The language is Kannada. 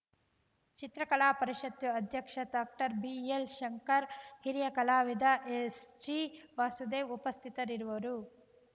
ಚಿತ್ರಕಲಾ ಪರಿಷತ್ತು ಅಧ್ಯಕ್ಷ ಡಾಕ್ಟರ್ ಬಿಎಲ್‌ಶಂಕರ್‌ ಹಿರಿಯ ಕಲಾವಿದ ಎಸ್‌ಜಿವಾಸುದೇವ್‌ ಉಪಸ್ಥಿತರಿರುವರು